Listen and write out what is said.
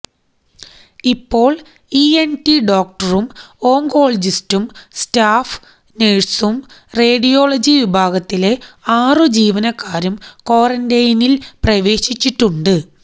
ഇപ്പോള് ഇഎന്ടി ഡോക്ടറും ഓങ്കോളജിസ്റ്റും സ്റ്റാഫ് നഴ്സും റേഡിയോളജി വിഭാഗത്തിലെ ആറു ജീവനക്കാരും ക്വാറന്റെനില് പ്രവേശിച്ചിട്ടുണ്ട്